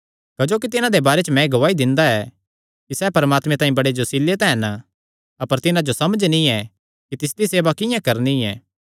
क्जोकि तिन्हां दे बारे च मैं एह़ गवाही दिंदा ऐ कि सैह़ परमात्मे तांई बड़े जोसीले तां हन अपर तिन्हां जो समझ नीं ऐ कि तिसदी सेवा किंआं करणी ऐ